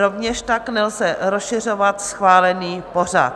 Rovněž tak nelze rozšiřovat schválený pořad.